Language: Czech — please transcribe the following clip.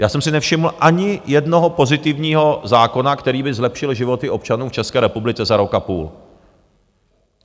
Já jsem si nevšiml ani jednoho pozitivního zákona, který by zlepšil životy občanů v České republice za rok a půl.